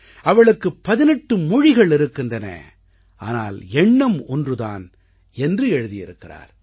அவளுக்கு 18 மொழிகள் இருக்கின்றன ஆனால் எண்ணம் ஒன்று தான் என்று எழுதி இருக்கிறார்